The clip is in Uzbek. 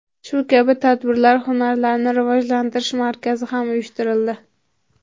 Shu kabi tadbirlar hunarlarni rivojlantirish markazida ham uyushtirildi.